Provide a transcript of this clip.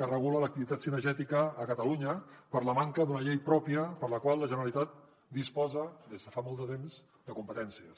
que regula l’activitat cinegètica a catalunya per la manca d’una llei pròpia per a la qual la generalitat disposa des de fa molt de temps de competències